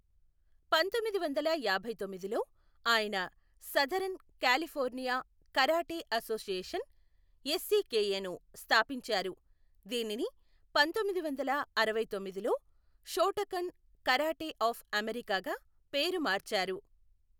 పంతొమ్మిది వందల యాభైతొమ్మిదిలో ఆయన southern California karate association, SCKA ను స్థాపించారు, దీనిని పంతొమ్మిది వందల అరవై తొమ్మిదిలో షోటోకన్ కరాటే అఫ్ అమెరికాగా పేరు మార్చారు.